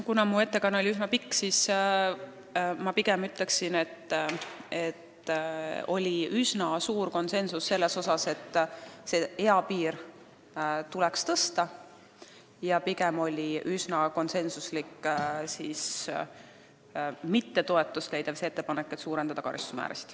Kuna mu ettekanne oli üsna pikk, siis ma pigem ütleksin kokkuvõtteks, et oli üsna suur konsensus selles osas, et seda eapiiri tuleks tõsta, ja üsna konsensuslikult ei leidnud toetust ettepanek suurendada karistusmäärasid.